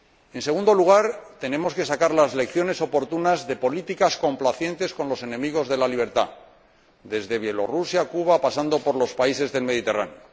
En segundo lugar, tenemos que sacar las lecciones oportunas de políticas complacientes con los enemigos de la libertad, desde Belarús a Cuba, pasando por los países del Mediterráneo.